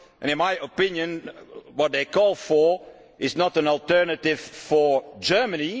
In my opinion, what they are calling for is not an alternative for Germany.